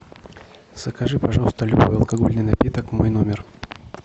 закажи пожалуйста любой алкогольный напиток в мой номер